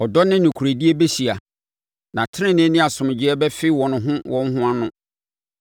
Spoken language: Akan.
Ɔdɔ ne nokorɛdie bɛhyia, na tenenee ne asomdwoeɛ bɛfe wɔn ho wɔn ho ano.